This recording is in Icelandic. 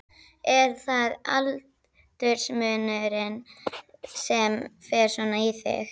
Er það aldursmunurinn sem fer svona í þig?